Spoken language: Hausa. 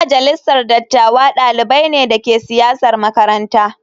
Yan majalisar dattawa dalibai ne da ke siyasar makaranta.